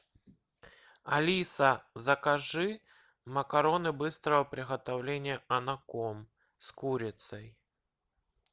алиса закажи макароны быстрого приготовления анаком с курицей